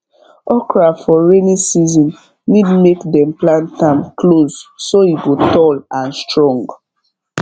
okra for rainy season need make dem plant am close so e go tall and strong